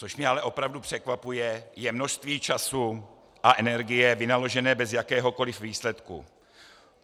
Co mě ale opravdu překvapuje, je množství času a energie vynaložené bez jakéhokoli výsledku.